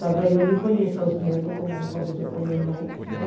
Talvez eu nem conheça os netos como aconteceu com minha mãe, né?